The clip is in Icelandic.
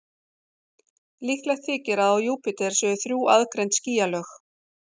Líklegt þykir að á Júpíter séu þrjú aðgreind skýjalög.